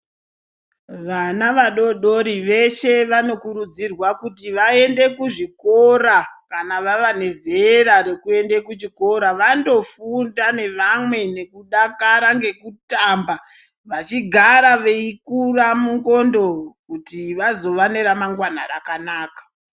Vana vadodori veshe vanokurudzirwa kuti vaende kuzvikora kana vabva nezera rekuende kuchikora vandofunda nevamwe nekudakara, nekutamba vachigara veikura mundxondo kuti vazova neremangwana rakanaka.